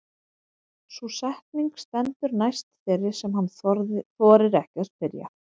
Sú setning stendur næst þeirri sem hann þorir ekki að spyrja.